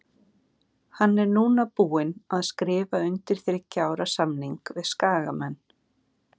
Hann er núna búinn að skrifa undir þriggja ára samning við Skagamenn.